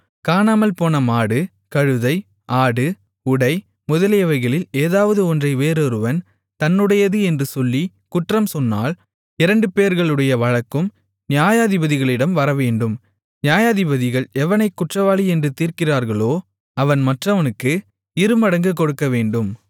காணாமல்போன மாடு கழுதை ஆடு உடை முதலியவைகளில் ஏதாவது ஒன்றை வேறொருவன் தன்னுடையது என்று சொல்லி குற்றம்சொன்னால் இரண்டு பேர்களுடைய வழக்கும் நியாயாதிபதிகளிடம் வரவேண்டும் நியாயாதிபதிகள் எவனைக் குற்றவாளி என்று தீர்க்கிறார்களோ அவன் மற்றவனுக்கு இருமடங்கு கொடுக்கவேண்டும்